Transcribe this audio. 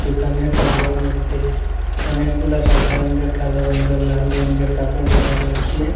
দোকানের তারিয়ার মইধ্যে অনেকগুলা সাদা রঙ্গের কালো রঙ্গের লাল রঙ্গের কাপড় দেখা যাচ্ছে।